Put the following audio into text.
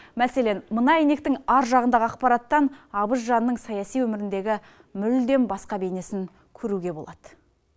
мәселен мына әйнектің ар жағындағы ақпараттан абыз жанның саяси өміріндегі мүлдем басқа бейнесін көруге болады